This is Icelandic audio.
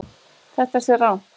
Þetta sé rangt.